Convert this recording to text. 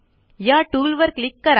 या टूलवर क्लिक करा